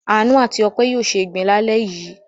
Àánú àti Ọpẹ́ yóò se ìgbín lálẹ́ yìí.